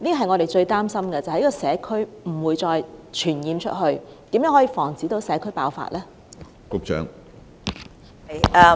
我們最擔心的是疫症在社區傳播，如何防止社區爆發呢？